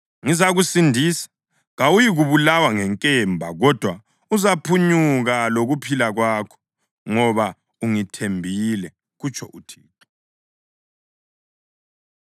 Ngizakusindisa, kawuyikubulawa ngenkemba kodwa uzaphunyuka lokuphila kwakho, ngoba ungithembile, kutsho uThixo.’ ”